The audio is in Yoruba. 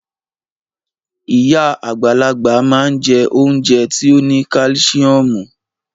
Iya agbalagba ma n je ounje ti o ni kalisiomu.